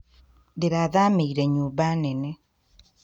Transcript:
Ndĩrathamĩire nyũmba nene